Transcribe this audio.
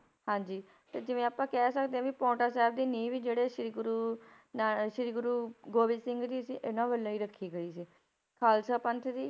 ਹਾਂਜੀ ਤੇ ਜਿਵੇਂ ਆਪਾਂ ਕਹਿ ਸਕਦੇ ਹਾਂ ਵੀ ਪਾਉਂਟਾ ਸਾਹਿਬ ਦੀ ਨੀਂਹ ਵੀ ਜਿਹੜੇ ਸ੍ਰੀ ਗੁਰੂ ਨਾ~ ਸ੍ਰੀ ਗੁਰੂ ਗੋਬਿੰਦ ਸਿੰਘ ਜੀ ਸੀ ਇਹਨਾਂ ਵੱਲੋਂ ਹੀ ਰੱਖੀ ਗਈ ਸੀ, ਖਾਲਸਾ ਪੰਥ ਦੀ